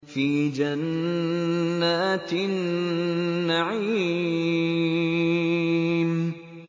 فِي جَنَّاتِ النَّعِيمِ